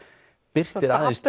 birtir aðeins